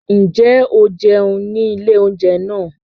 Ǹjẹ́ o jẹun ní ilé oúnjẹ náà?